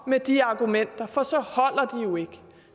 med de argumenter for